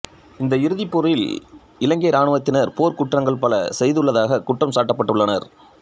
இந்த இறுதிப் போரில் இலங்கை இராணுவத்தினர் போர்க்குற்றங்கள் பல செய்துள்ளதாகக் குற்றம் சாட்டப்பட்டுள்ளனர்